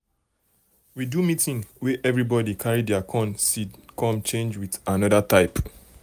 we do meeting wey everybody carry their corn seed come change with another type.